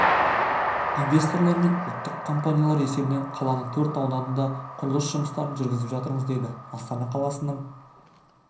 инвесторлар мен ұлттық компаниялар есебінен қаланың төрт ауданында құрылыс жұмыстарын жүргізіп жатырмыз деді астана қаласының